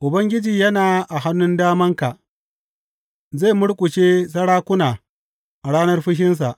Ubangiji yana a hannun damanka; zai murƙushe sarakuna a ranar fushinsa.